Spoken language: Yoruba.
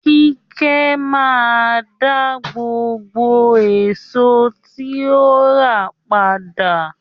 Kíkẹ́ máa daá gbogbo èsò tí ó rà padà